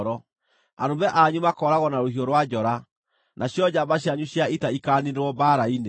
Arũme anyu makooragwo na rũhiũ rwa njora, nacio njamba cianyu cia ita ikaaniinĩrwo mbaara-inĩ.